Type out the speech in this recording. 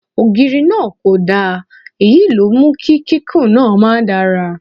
Ògiri náà kò dán, èyí ló mú kí kíkún náà ma dára.